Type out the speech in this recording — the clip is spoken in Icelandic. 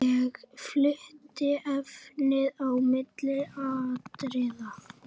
Ég flutti efnið á milli atriða.